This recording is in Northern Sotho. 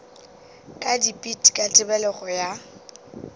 ka dipit ka tebelego ya